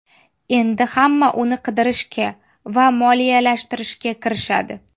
Endi hamma uni qidirishga va moliyalashtirishga kirishadi.